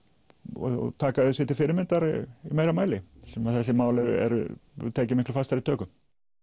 og taka þau sér til fyrirmyndar í meira mæli þar sem þessari mál eru eru tekin miklu fastari tökum